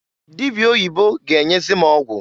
Dịbịa oyibo ga-enyezi m ọgwụ.